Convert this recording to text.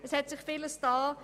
Viel hat sich getan.